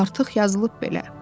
Artıq yazılıb belə.